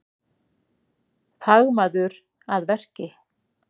Fagmaður að verki